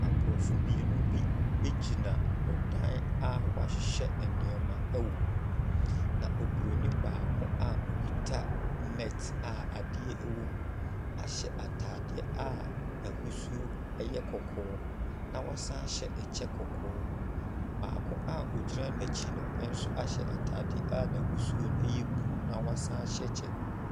Aborɔfo mmienu bi gyina ɔdan a wɔahyehyɛ nneɛma wom. Na Oburoni baako a ɔkita net a adeɛ wom ahyɛ ataadeɛ a n’ahosuo yɛ kɔkɔɔ na was an ahyɛ ɛkyɛ kɔkɔɔ. Baako a ɔgyina n’akyi no nso ahyɛ ataade a n’ahosuo no yɛ blue na wasan ahyɛ kyɛ.